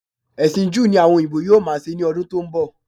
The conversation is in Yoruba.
Ẹ̀sìn Júù ni àwọn òyìnbó yóò máa ṣe ní ọdún tó ń bọ̀